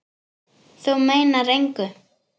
Þú meinar engu!